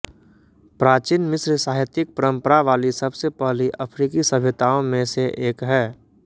प्राचीन मिस्र साहित्यिक परंपरा वाली सबसे पहली अफ़्रीकी सभ्यताओं में से एक है